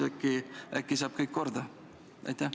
Äkki saab tööprotsessis kõik korda?